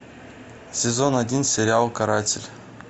сезон один сериал каратель